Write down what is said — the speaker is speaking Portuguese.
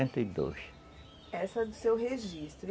quarenta e Essa do seu registro.